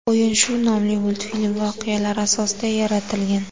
O‘yin shu nomli multfilm voqealari asosida yaratilgan.